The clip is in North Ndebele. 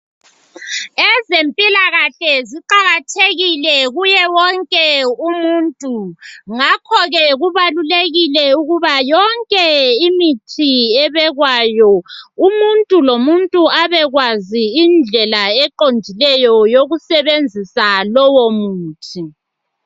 Ezempilakahle ziqakathekile kuye wonke umuntu. Ngakho ke kubalulekile ukuthi yonke imithi ebekwayo, umuntu lomuntu abekwazi indlela eqondileyo, yokusebenzisa lowomuthi.